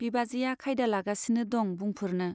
बिबाजैया खायदा लागासिनो दं बुंफोरनो।